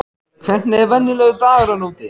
Hvernig er venjulegur dagur þarna úti?